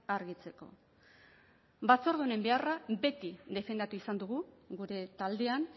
argitzeko batzorde honen beharra beti defendatu izan dugu gure taldean